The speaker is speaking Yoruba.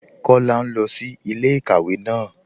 Kọla n lọ sí ilẹ̀-ikàwé náà.